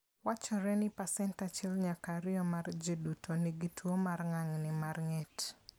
Wachore ni pasent 1 nyaka 2 mar ji duto nigi tuo mar ng'ang'ni mar ng'et